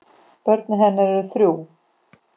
Börn hennar eru þrjú.